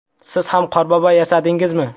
Siz ham qorbobo yasadingizmi?